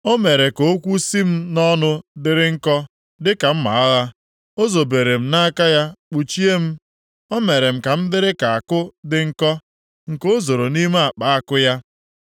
O mere ka okwu sị m nʼọnụ dịrị nkọ dịka mma agha. O zobere m nʼaka ya kpuchie m. O mere m ka m dịrị ka àkụ dị nkọ nke o zoro nʼime akpa àkụ ya.